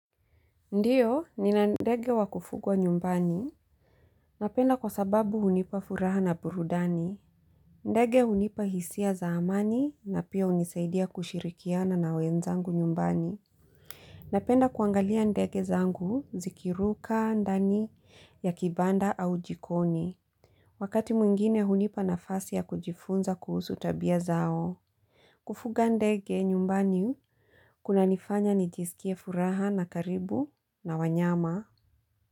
Ndio, nina ndege wa kufugwa nyumbani. Napenda kwa sababu hunipa furaha na burudani. Ndege hunipa hisia za amani na pia hunisaidia kushirikiana na wenzangu nyumbani. Napenda kuangalia ndege zangu zikiruka, ndani ya kibanda au jikoni. Wakati mwingine hunipa nafasi ya kujifunza kuhusu tabia zao. Kufuga ndege nyumbani kuna nifanya nijisikie furaha na karibu na wanyama.